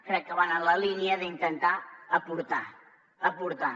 crec que van en la línia d’intentar aportar aportar